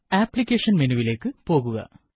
application മെനുവിലേക്ക് പോകുക